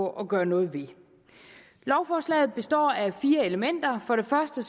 gøre noget ved lovforslaget består af fire elementer for det første